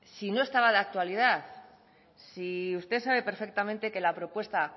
si no estaba de actualidad si usted sabe perfectamente que la propuesta